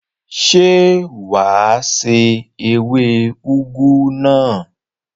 Ṣé wà á se ewé úgú náà?